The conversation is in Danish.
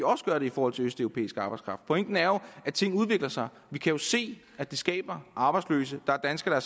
også gøre det i forhold til østeuropæisk arbejdskraft pointen er jo at ting udvikler sig vi kan se at det skaber arbejdsløse der er danskere